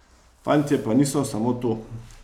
Fantje pa niso samo to.